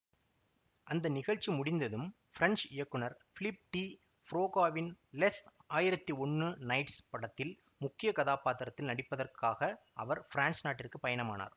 அந்த நிகழ்ச்சி முடிந்ததும் ஃபிரெஞ்ச் இயக்குனர் பிலிப் டி ப்ரோகாவின் லெஸ் ஆயிரத்தி ஒன்னு நைட்ஸ் படத்தில் முக்கிய கதாப்பாத்திரத்தில் நடிப்பதற்காக அவர் ஃபிரான்ஸ் நாட்டிற்கு பயணமானார்